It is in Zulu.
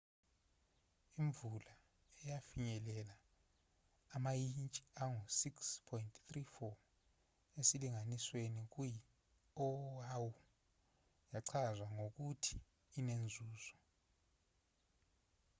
imvula eyafinyelela amayintshi angu-6.34 esilinganisweni kuyi oahu yachazwa ngokuthi inenzuzo